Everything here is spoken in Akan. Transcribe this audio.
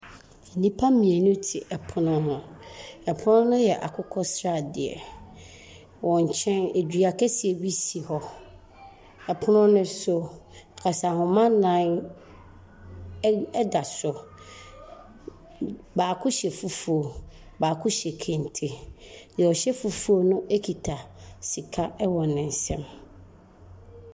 Nnipa mmienu te pono ho. Pono no yɛ akokɔsradeɛ. Wɔn nkyɛ, dua kɛseɛ bi si hɔ. Pono no so, kasanoma nnan ɛ ɛda so. B baako hyɛ fufuo, baako hyɛ kente. Deɛ ɔhyɛ fufuo no kita sika wɔ ne nsam.